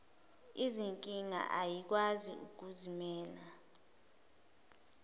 izinkinga ayikwazi ukuzimela